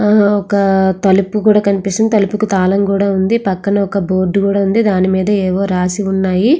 ఒక తలుపు కూడా కనిపిస్తుంది. ఆ తలుపుకు తాళం కూడా ఉంది. పక్కన ఒక బోర్డు కూడా ఉంది. దాని మీద ఏవో రాసి ఉన్నాయి.